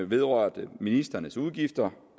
vedrørte ministrenes udgifter